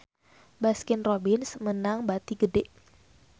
Baskin Robbins meunang bati gede